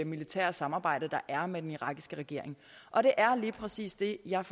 militære samarbejde der er med den irakiske regering og det er lige præcis det jeg